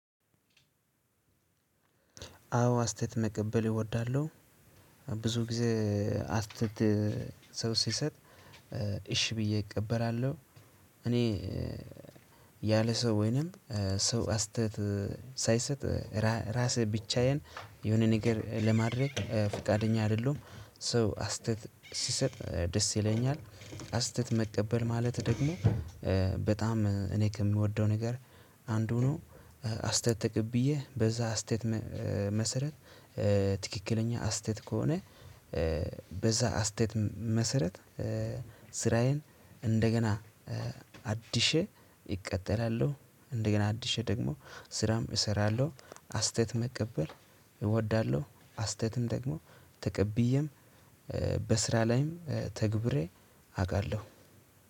አዎ አስተያየት መቀበል እወዳለሁ ብዙ ጊዜ አስተያየት ሰው ሲሰጥ እሺ ብዬ እቀበላለሁ። እኔ ያለ ሰው ወይንም ሰው አስተያየት ሳይሰጥ ራሴ ብቻዬን የሆነ ነገር ለማድረግ ፈቃደኛ አይደለሁም። ሰው አስተያየት ሲሰጥ ደስ ይለኛል አስተያየት መቀበል ማለት ደግሞ በጣም እኔ ከምወደው ነገር አንዱ ነው። አስተያየት ተቀብዬ በዛ አስተያየት መሰረት ትክክለኛ አስተያየት ከሆነ። በዛ አስተያየት መሰረት ስራዬን እንደገና አድሼ እቀጥላለሁ። እንደገና አድሼ ደግሞ ስራም እሰራለሁ። አስተያየት መቀበል እወዳለሁ አስተያየትም ደግሞ ተቀብዬም በስራ ላይም ተግብሬ አቃለሁ።